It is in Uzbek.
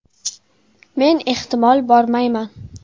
Men, ehtimol, bormayman.